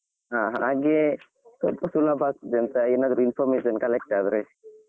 ಹಾ ಹಾಗೆ ಸ್ವಲ್ಪ ಸುಲಭ ಆಗ್ತದೆ ಅಂತ ಏನಾದ್ರು information collect ಆದ್ರೆ.